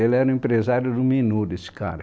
Ele era o empresário do Menudo, esse cara.